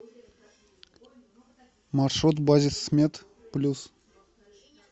маршрут базисмед плюс